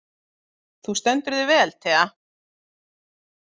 Þú stendur þig vel, Thea!